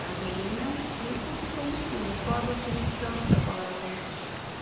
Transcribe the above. Gasolina é um tipo de combustível, mas qual a definição da palavra combustível?